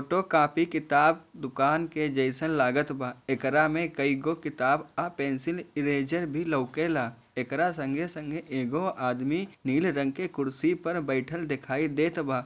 Photo copy किताब दुकान के जइसन लागतवा एकरा में कई गो किताब औ पेंसिल इरेज़र भी लउकेला एकरा संगे-संगे एगो आदमी नीले रंग के कुर्सी पे बइठल दिखाई देत बा।